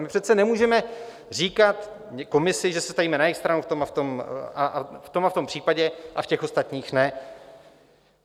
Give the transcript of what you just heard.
My přece nemůžeme říkat komisi, že se stavíme na jejich stranu v tom a v tom případě a v těch ostatních ne.